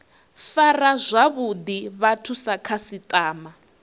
fara zwavhuḓi vhathu sa khasiṱama